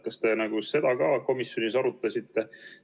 Kas te seda ka komisjonis arutasite?